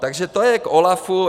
Takže to je k OLAF.